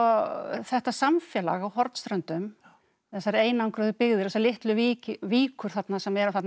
þetta samfélag á Hornströndum þessar einangruðu byggðir og þessar litlu víkur víkur þarna sem eru þarna með